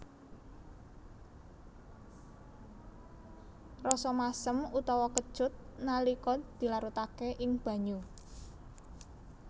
Rasa masem utawa kecut nalika dilarutaké ing banyu